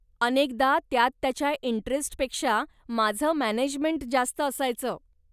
अनेकदा त्यात त्याच्या इंटरेस्टपेक्षा माझं मॅनेजमेंट जास्त असायचं.